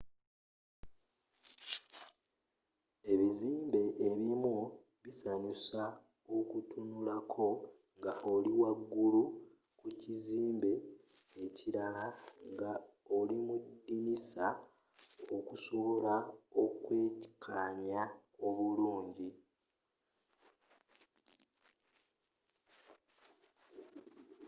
ebizimbe ebimu bisanyusa okutunulako nga oli wagulu ku kizimbe ekilala nga olimudinisa okusobola okwekanya obulungi